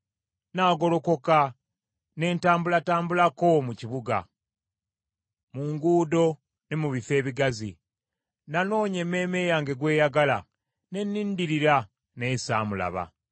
Nnaagolokoka ne ntambulatambulako mu kibuga, mu nguudo ne mu bifo ebigazi; nanoonya emmeeme yange gw’eyagala, ne nnindirira naye saamulaba.